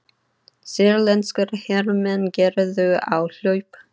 Sýrlenskir hermenn gerðu áhlaup